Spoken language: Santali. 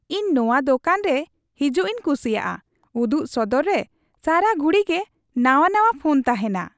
ᱤᱧ ᱱᱚᱣᱟ ᱫᱳᱠᱟᱱ ᱨᱮ ᱦᱤᱡᱩᱜᱤᱧ ᱠᱩᱥᱤᱭᱟᱜᱼᱟ ᱾ ᱩᱫᱩᱜ ᱥᱚᱫᱚᱨᱨᱮ ᱥᱟᱨᱟ ᱜᱷᱩᱲᱤᱜᱮ ᱱᱟᱣᱟ ᱱᱟᱣᱟ ᱯᱷᱳᱱ ᱛᱟᱦᱮᱱᱟ ᱾